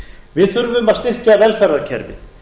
við þurfum að styrkja velferðarkerfið